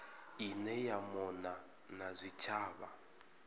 ine ya mona na zwitshavha